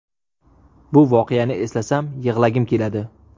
Bu voqeani eslasam, yig‘lagim keladi.